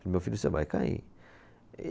Meu filho, você vai cair.